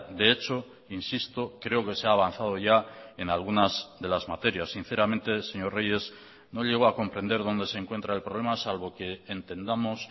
de hecho insisto creo que se ha avanzado ya en algunas de las materias sinceramente señor reyes no llego a comprender dónde se encuentra el problema salvo que entendamos